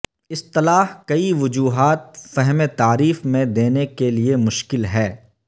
اصطلاح کئی وجوہات فہم تعریف میں دینے کے لئے مشکل ہے